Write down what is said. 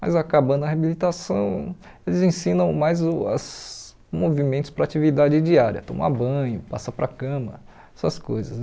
Mas acabando a reabilitação, eles ensinam mais o as movimentos para atividade diária, tomar banho, passar para a cama, essas coisas.